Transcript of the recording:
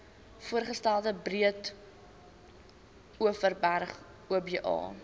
voorgestelde breedeoverberg oba